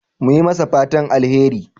Mun yi masa fatan alheri.